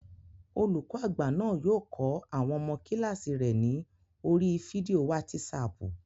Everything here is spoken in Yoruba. Olùkọ́ àgbà náà yóò kọ́ àwọn ọmọ kílààsì rẹ̀ ní oríi fídíò wátísapù